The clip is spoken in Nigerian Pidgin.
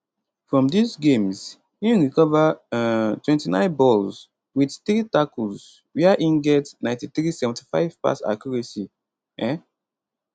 from dis games im recover um 29 balls win 3 tackles wia im get 9375 pass accuracy um